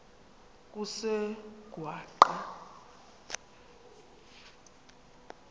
kusengwaqa